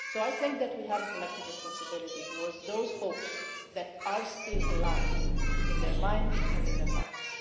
So I think that we have a collective responsibility towards those hopes that are still alive in their minds and in their hearts.